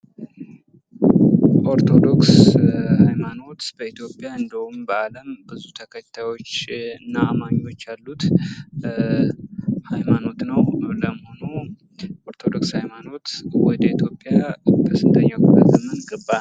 ኦርቶዶክስ ሀይማኖት በኢትዮጵያ እንዲሁም በአለም ብዙ ተከታዮችና አማኞች ያሉት ሀይማኖት ነው። ለመሆኑ ኦርቶዶክስ ሀይማኖት ወደ ኢትዮጵያ በስንተኛው ክፍለ ዘመን ገባ?